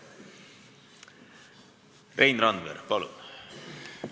Rein Randver, palun!